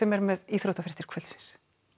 er með íþróttafréttir kvöldsins